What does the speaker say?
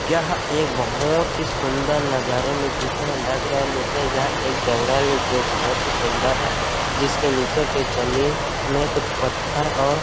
यह एक बोहोत ही सुन्दर नजारे में दिख रहै लग रहै हैं यह एक जंगल है जो बोहोत ही सुन्दर है जिसके नीचे के जमीन मे कुछ पत्थर और--